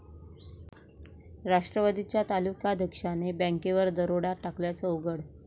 राष्ट्रवादीच्या तालुकाध्यक्षाने बँकेवर दरोडा टाकल्याचं उघड